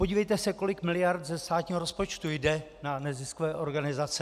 Podívejte se, kolik miliard ze státního rozpočtu jde na neziskové organizace.